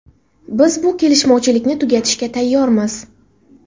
Biz bu kelishmovchilikni tugatishga tayyormiz.